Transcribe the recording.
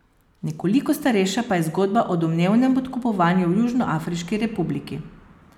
Nekoliko starejša pa je zgodba o domnevnem podkupovanju v Južnoafriški republiki.